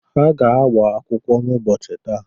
Ha ga-agba akwụkwọ n'ụbọọchi taa.